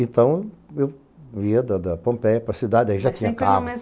Então, eu ia da Pompeia para a cidade, aí já tinha carro.